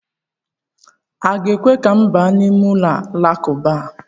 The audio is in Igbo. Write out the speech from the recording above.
A ga-ekwe ka m baa n'ime ụlọ Alakụba?